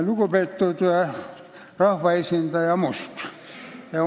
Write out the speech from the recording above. Lugupeetud rahvaesindaja Must!